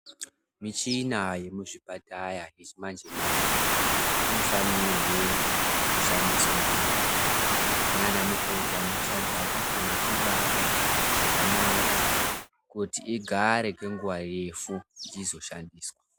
Michina yemuzvipataya yechimanje-manje, inofanirwe kushandiswa ngemazvo, naanamikoti anoishandisa anofane kuibata zvakanaka, kuti igare kwenguva yefu ichizoshandiswa.